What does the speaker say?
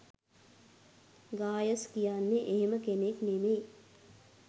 ගායස් කියන්නේ එහෙම කෙනෙක් නෙමෙයි.